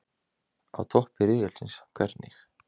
Á toppi riðilsins- hvernig?